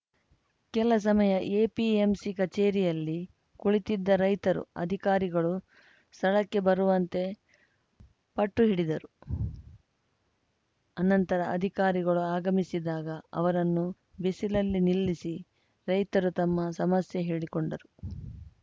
ಕೆಲಸಮಯ APMC ಕಚೇರಿಯಲ್ಲಿ ಕುಳಿತಿದ್ದ ರೈತರು ಅಧಿಕಾರಿಗಳು ಸ್ಥಳಕ್ಕೆ ಬರುವಂತೆ ಪಟ್ಟು ಹಿಡಿದರು ನಂತರ ಅಧಿಕಾರಿಗಳು ಆಗಮಿಸಿದಾಗ ಅವರನ್ನು ಬಿಸಲಲ್ಲಿ ನಿಲ್ಲಿಸಿ ರೈತರು ತಮ್ಮ ಸಮಸ್ಯೆ ಹೇಳಿಕೊಂಡರು